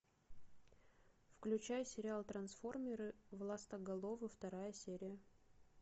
включай сериал трансформеры властоголовы вторая серия